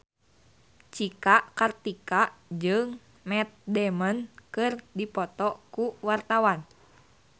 Cika Kartika jeung Matt Damon keur dipoto ku wartawan